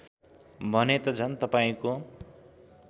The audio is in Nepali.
भने त झन् तपाईँको